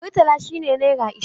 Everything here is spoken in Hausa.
Murtala shi ne naira ashirin